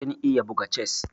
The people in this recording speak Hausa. Kin iya buga chess?